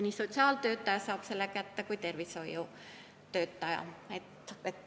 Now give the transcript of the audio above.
Selle info saab kätte nii sotsiaaltöötaja kui ka tervishoiutöötaja.